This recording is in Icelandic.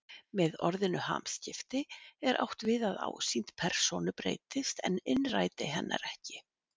Með orðinu hamskipti er átt við að ásýnd persónu breytist en innræti hennar ekki.